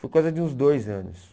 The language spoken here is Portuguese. Foi coisa de uns dois anos.